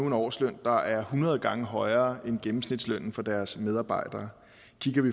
en årsløn der er hundrede gange højere end gennemsnitslønnen for deres medarbejdere